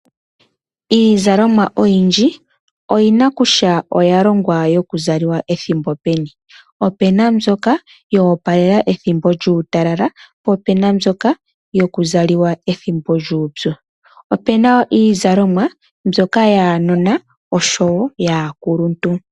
Iizalomwa oyindji oyina kutya oya longwa yoku zaliwa ethimbo peni, opena mbyoka yoopalela ethimbo lyuutalala, po pena mbyoka yoku zaliwa ethimbo lyuupyu. Opena iizalomwa mbyoka yaanona oshowo yaakuluntu.